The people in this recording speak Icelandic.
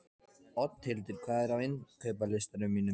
Oddhildur, hvað er á innkaupalistanum mínum?